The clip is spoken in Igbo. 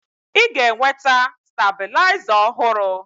Ị ga-enweta stabilizer ọhụrụ.